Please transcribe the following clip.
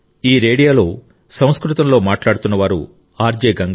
ఈ రేడియోలో సంస్కృతంలో మాట్లాడుతున్నవారు ఆర్జే గంగ